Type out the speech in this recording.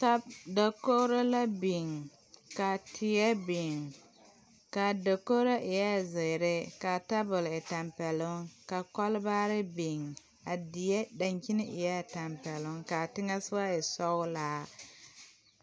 Ta dakogro la biŋ ka teɛ biŋ kaa dakogro eɛɛ zēēre kaa tabol e tampɛloŋ ka kɔl baare biŋ a die daŋkyine eɛɛ tampɛloŋ kaa teŋɛsɔgɔ e sɔglaa.